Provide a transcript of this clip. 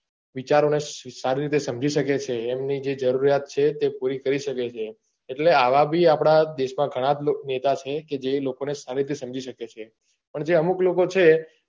વિચારો ને સારી રીતે સમજી સકે છે એમની જે જરૂરિયાત છે તે પૂરી કરી સકે છે એટલે આવા બી આપડા દેશ માં ઘણાં જ નેતા છે જે લોકો ને સારી રીતે સમજી સકે છે પણ જે અમુક લોકો છે